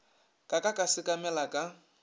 ka ka ka sekamela ka